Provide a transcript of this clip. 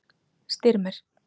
Styrmir